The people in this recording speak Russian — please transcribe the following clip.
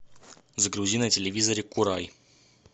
загрузи на телевизоре курай